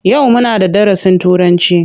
Yau muna da darasin Turanci?